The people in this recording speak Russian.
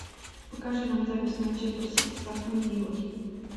покажи нам запись манчестер сити с астон виллой